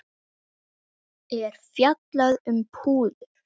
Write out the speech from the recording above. er fjallað um púður.